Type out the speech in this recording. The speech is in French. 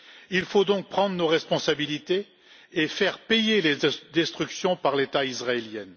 Il nous faut donc prendre nos responsabilités et faire payer les destructions par l'État israélien.